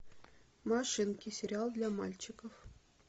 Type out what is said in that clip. машинки сериал для мальчиков